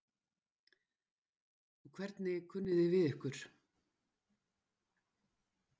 Og hvernig kunni þið við ykkur?